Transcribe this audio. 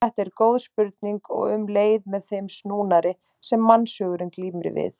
Þetta er góð spurning og um leið með þeim snúnari sem mannshugurinn glímir við.